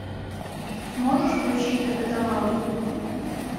можешь включить капитан рон